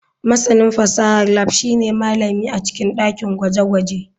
Masanin fasahar lab shine malami a cikin dakin gwaje-gwaje.